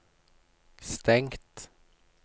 stengt